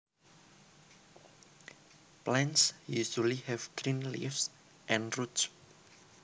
Plants usually have green leaves and roots